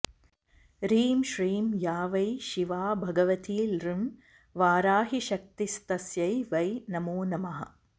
ह्रीं श्रीं या वै शिवा भगवती ॡं वाराहीशक्तिस्तस्यै वै नमो नमः